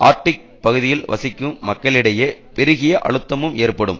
Arctic பகுதியில் வசிக்கும் மக்களிடையே பெருகிய அழுத்தமும் ஏற்படும்